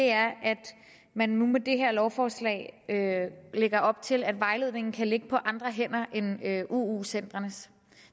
er at man nu med det her lovforslag lægger op til at vejledningen kan ligge på andre hænder end uu centrenes